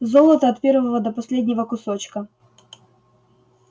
золото от первого до последнего кусочка